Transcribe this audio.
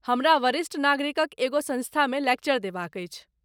हमरा वरिष्ठ नागरिकक एगो संस्थामे लेक्चर देबाक अछि।